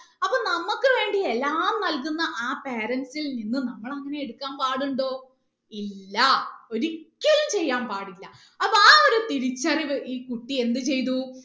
അപ്പൊ നമ്മക്ക് വേണ്ടി എല്ലാം നൽകുന്ന ആ parents ൽ നിന്ന് നമ്മൾ അങ്ങനെ എടുക്കാൻ പാടുണ്ടോ ഇല്ലാ ഒരിക്കലും ചെയ്യാൻ പാടില്ല അപ്പൊ ആ ഒരു തിരിച്ചറിവ് ഈ കുട്ടിയെ എന്ത് ചെയ്തു